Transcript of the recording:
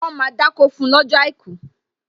Wọn máa dákó fún lọ́jọ́ àìkú